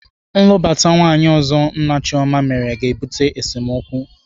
Nlụbata nwaanyị ọzọ nna Chioma mere ga-ebute esemokwu.